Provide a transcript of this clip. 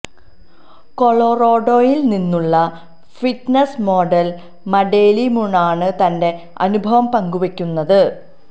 കൊളോറാഡോയിൽ നിന്നുള്ള fitness model Madeline മൂണാണ് തന്റെ അനുഭവം പങ്കുവെക്കുന്നത്